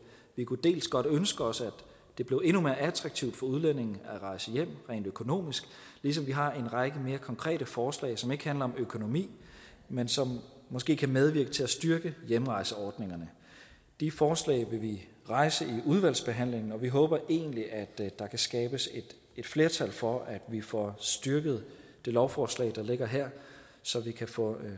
vi kunne godt ønske os at det blev endnu mere attraktivt for udlændinge at rejse hjem rent økonomisk ligesom vi har en række mere konkrete forslag som ikke handler om økonomi men som måske kan medvirke til at styrke hjemrejseordningerne de forslag vil vi rejse i udvalgsbehandlingen og vi håber egentlig at der kan skabes et flertal for at vi får styrket det lovforslag der ligger her så vi kan få